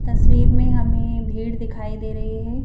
तस्वीर में हमें भीड़ दिखाई दे रही है--.